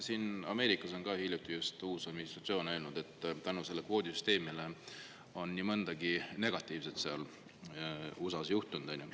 Noh, Ameerikas on ka hiljuti uus administratsioon öelnud, et selle kvoodisüsteemi tõttu on seal nii mõndagi negatiivset juhtunud.